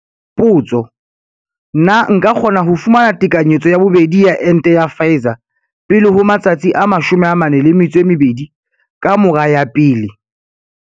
Potso- Na nka kgona ho fumana tekanyetso ya bobedi ya ente ya Pfizer pele ho matsatsi a 42 ka mora ya pele?